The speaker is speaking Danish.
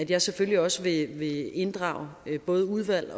jeg selvfølgelig også vil inddrage både udvalg